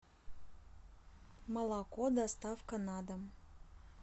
молоко доставка на дом